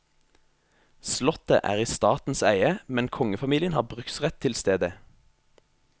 Slottet er i statens eie, men kongefamilien har bruksrett til stedet.